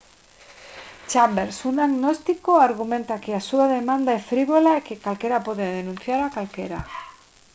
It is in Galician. chambers un agnóstico argumenta que a súa demanda é frívola e que calquera pode denunciar a calquera